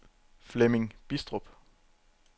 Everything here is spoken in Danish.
Flemming Bidstrup